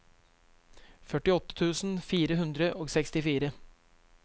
førtiåtte tusen fire hundre og sekstifire